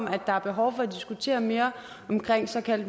at der er behov for at diskutere mere omkring såkaldt